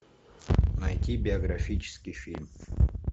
найти биографический фильм